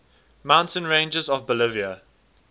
mountain ranges of bolivia